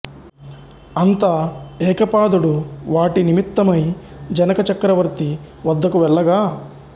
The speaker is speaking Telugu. అంత ఏకపాదుడు వాటి నిమిత్తమై జనక చక్రవర్తి వద్దకు వెళ్లగా